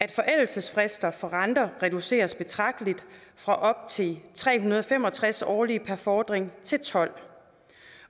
af forældelsesfrister for renter reduceres betragteligt fra op til tre hundrede og fem og tres årlige per fordring til tolv